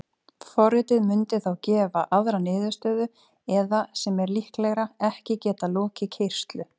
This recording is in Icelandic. Forritið mundi þá gefa aðra niðurstöðu eða, sem er líklegra, ekki geta lokið keyrslu.